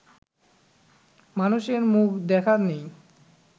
মানুষের মুখ দেখা নেই